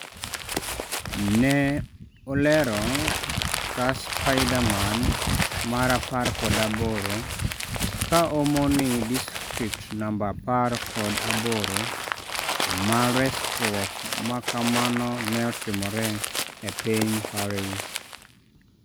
Neolero ka "spiderman mar apar kod aboro,"ka omoni distrikt namba apar kod aboro ma resruok ma kamano ne otimore e piny Paris.